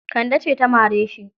Kande ce ta mare shi.